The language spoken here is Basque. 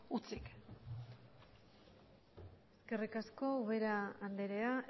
hutsik eskerrik asko ubera andrea